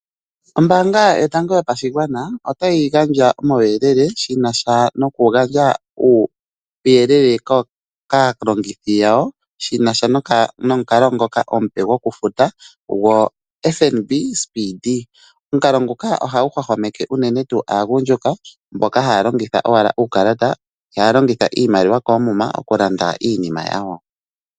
Ombaanga yotango yopashigwana otayi gandja omauyelele kaalongithi yawo shinasha nomukalo ngoka omupe gokufuta gwo FNB speedee. Omukalo nguka ohagu hwahwameke aagundjuka mboka hata longitha owala uukalata ihaya longitha iimaliwa koomuma okulanda iinima yawo.